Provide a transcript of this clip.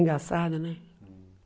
Engaçada, né?